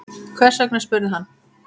Hvers vegna? spurði hann.